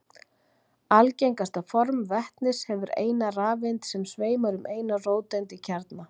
Algengasta form vetnis hefur eina rafeind sem sveimar um eina róteind í kjarna.